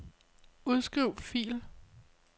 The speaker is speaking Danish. Udskriv fil.